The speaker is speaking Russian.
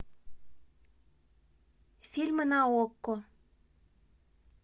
фильмы на окко